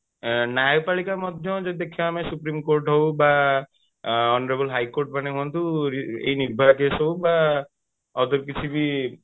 ନ୍ୟାୟପାଳିକା ମଧ୍ୟ ଯଦି ଦେଖିବା ଆମେ supreme court ହଉ ବା honorable high court ମାନେ ହୁଅନ୍ତୁ ଏଇ ନିର୍ଭୟା case ହଉ ବା ଅଲଗା କିଛି ବି